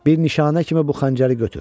Bir nişanə kimi bu xəncəri götür.